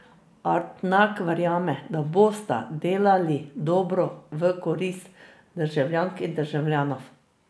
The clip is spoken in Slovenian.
Artnak verjame, da bosta delali dobro, v korist državljank in državljanov.